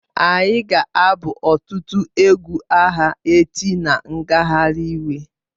Anyị ga-abụ ọtụtụ egwu agha echi na ngagharị iwe